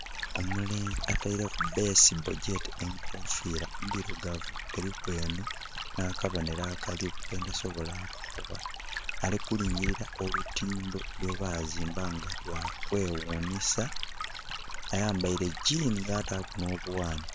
Omulenzi ataireku baseball oba gyete ekufira ndirugavu eriku akabohero kentasobola kukukoba ali kulingirila olutindho lwebazimba nga lwa kweghunhisa ayambaire jeani yataku nho bughanhi.